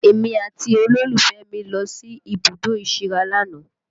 Èmi àti olólùfẹ́ mi lọ sí ibùdó ìsíra lánàá